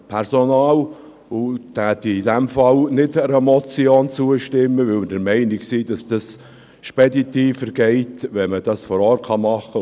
Einer Motion würden wir in diesem Fall nicht zustimmen, da wir der Meinung sind, dass es speditiver geht, wenn man das vor Ort machen kann.